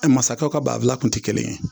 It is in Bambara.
Ɛ masakɛw ka banfula kun te kelen ye